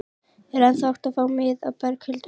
Er ennþá hægt að fá miða, Berghildur?